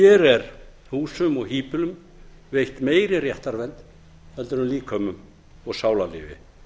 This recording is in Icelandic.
hér er húsum og híbýlum veitt meiri réttarvernd en líkömum og sálarlífi